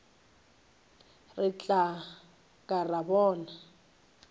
re tla ka ra bona